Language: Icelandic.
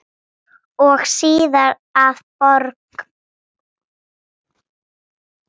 Við áttum svo margt ógert.